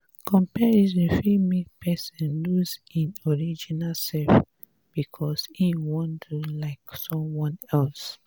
comparison fit make person lose im original self because im wan do like someone else